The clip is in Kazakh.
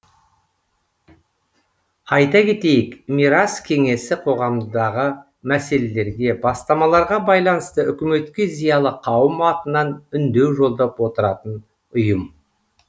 айта кетейік мирас кеңесі қоғамдағы мәселелерге бастамаларға байланысты үкіметке зиялы қауым атынан үндеу жолдап отыратын ұйым